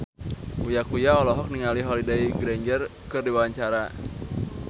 Uya Kuya olohok ningali Holliday Grainger keur diwawancara